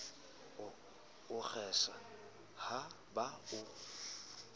o kgesa ha ba o